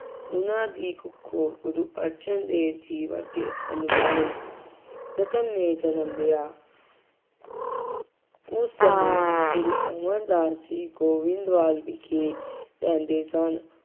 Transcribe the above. ਉਹਨਾ ਦੀ ਕੁੱਖੋਂ ਗੁਰੂ ਅਰਜਨ ਦੇਵ ਜੀ ਵਰਗੇ ਅਨਮੋਲ ਰਤਨ ਨੇ ਜਨਮ ਲਿਆ। ਉਸ ਸਮੇਂ ਗੁਰੂ ਅਮਰਦਾਸ ਜੀ ਗੋਇੰਦਵਾਲ ਵਿਖੇ ਰਹਿੰਦੇ ਸਨ।